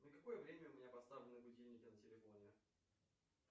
на какое время у меня поставлены будильники на телефоне